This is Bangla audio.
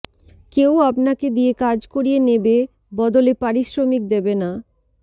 কেউ আপনাকে দিয়ে কাজ করিয়ে নেবে বদলে পারিশ্রমিক দেবে না